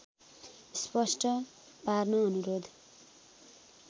स्पष्ट पार्न अनुरोध